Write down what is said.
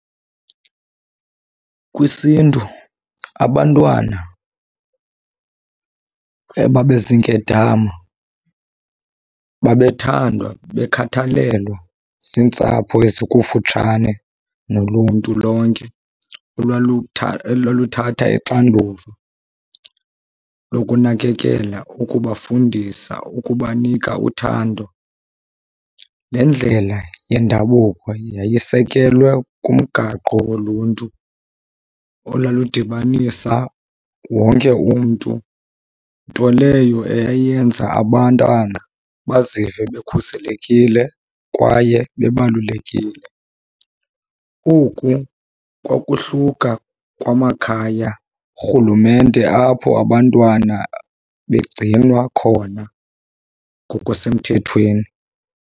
KwisiNtu abantwana ebabeziinkedama babethandwa bekhathalelwa ziintsapho ezikufutshane noluntu lonke olwaluthatha ixanduva lokunakekela, ukubafundisa, ukubanika uthando. Le ndlela yendabuko yayisekelwe kumgaqo woluntu olaludibanisa wonke umntu, nto leyo eyayenza abantwana bazive bekhuselekile kwaye bebalulekile. Oku kwakuhluka kwamakhaya, rhulumente apho abantwana begcinwa khona ngokusemthethweni.